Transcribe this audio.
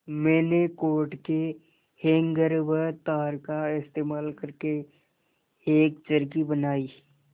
मैंने कोट के हैंगर व तार का इस्तेमाल करके एक चरखी बनाई